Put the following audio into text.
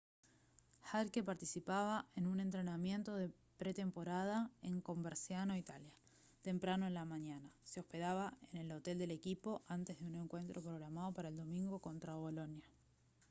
jarque participaba en un entrenamiento de pretemporada en coverciano italia temprano en la mañana se hospedaba en el hotel del equipo antes de un encuentro programado para el domingo contra bolonia